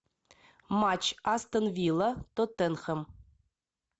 матч астон вилла тоттенхэм